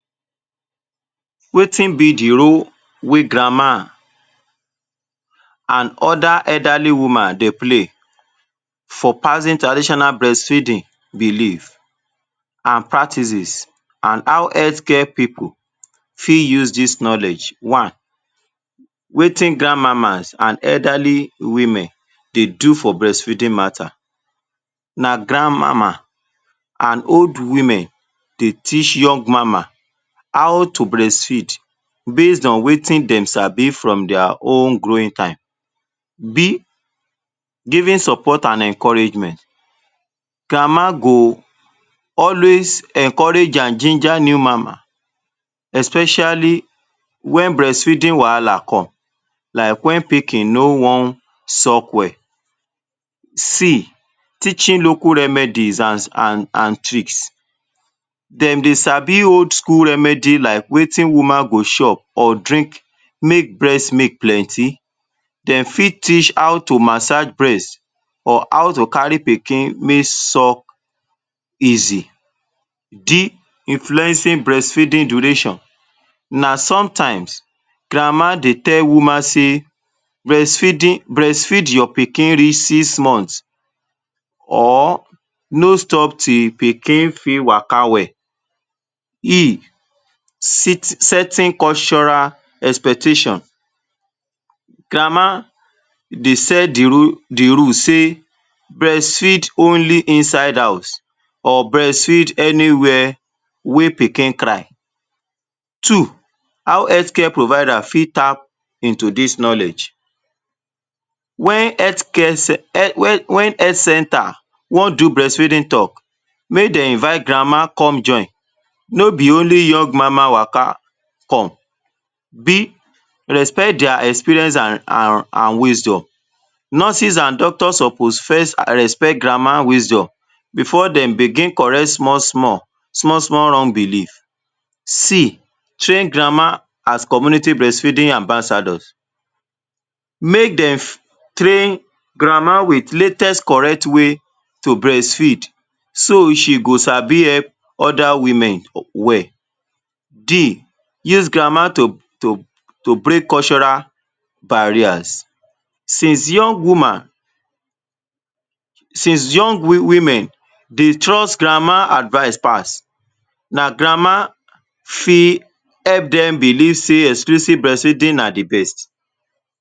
Wetin be the role wey grandma an other elderly woman dey play for passing traditional breastfeeding belief, an practices an how health care pipu fit use dis knowledge. One, wetin grandmamas an elderly women dey do for breastfeeding matter? Na grandmama an old women dey teach young mama how to breastfeed based on wetin dem sabi from dia own growing time. b. Giving support an encouragement: Grandma go always encourage an ginger new mama especially wen breastfeeding wahala come like wen pikin no wan suck well. c. Teaching local remedies an an an tricks: Dem dey sabi old school remedy like wetin go chop or drink make breast milk plenty. Dem fit teach how to massage breast or how to carry pikin make suck easy. d. Influencing breastfeeding donation: Na sometimes, grandma dey tell woman sey breastfeeding breastfeed your pikin reach six month or no stop till pikin fit waka well. e. Setting cultural expection: Grandma dey set the rule the rule sey breastfeed only inside house or breastfeed anywhere wey pikin cry. Two, how health care provider fit tap into dis knowledge: Wen health care wen wen health centre wan do breastfeeding talk, make de invite grandma come join, no be only young mama waka come. b. Respect dia experience an an an wisdom: Nurses an doctor suppose first respect grandma wisdom before dem begin correct small-small small-small wrong belief. c. Train grandma as community breastfeeding ambassadors: Make de train grandma with latest correct way to breastfeed so she go sabi help other women well. d. Use grandma to to to break cultural barriers: Since young woman, since young women dey trust [Grandma] advice pass, na grandma fit help dem believe sey exclusive breastfeeding na the best.